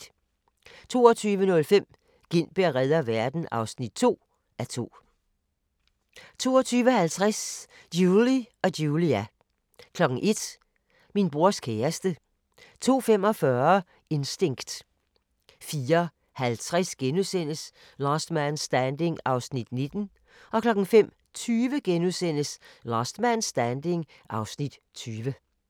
22:05: Gintberg reder verden (2:2) 22:50: Julie & Julia 01:00: Min brors kæreste 02:45: Instinct 04:50: Last Man Standing (Afs. 19)* 05:20: Last Man Standing (Afs. 20)*